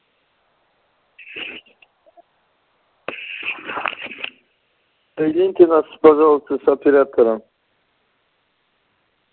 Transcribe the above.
соедините нас пожалуйста с оператором